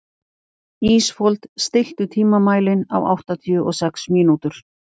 Ísfold, stilltu tímamælinn á áttatíu og sex mínútur.